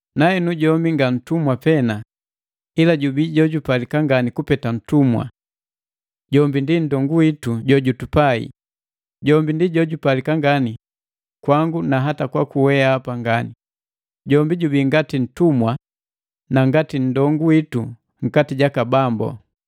Nahenu jombi nga ntumwi pena ila jubii jojupalika ngani kupeta ntumwa: Jombi ndi nndongu witu jojutupai. Jombi ndii jojupalika ngani kwangu na hata kwaku weapa ngani, jombi jubii ngati ntumwa na ngati nndongu witu nkati jaka Bambu.